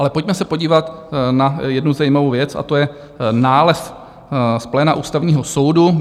Ale pojďme se podívat na jednu zajímavou věc a to je nález z pléna Ústavního soudu.